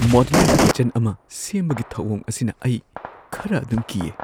Modular kitchen ꯑꯃ ꯁꯦꯝꯕꯒꯤ ꯊꯧꯑꯣꯡ ꯑꯁꯤꯅ ꯑꯩ ꯈꯔ ꯑꯗꯨꯝ ꯀꯤꯌꯦ ꯫